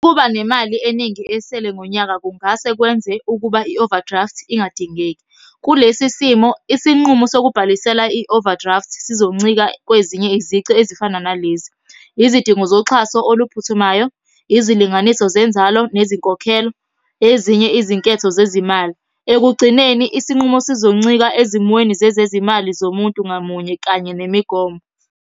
Ukuba nemali eningi esele ngonyaka kungase kwenze ukuba i-overdraft ingadingeki. Kulesi simo isinqumo sokubhalisela i-overdraft sizoncika kwezinye izici ezifana nalezi, izidingo zoxhaso oluphuthumayo, izilinganiso zenzalo nezinkokhelo, ezinye izinketho zezimali. Ekugcineni isinqumo sizoncika ezimweni zezezimali zomuntu ngamunye kanye nemigomo.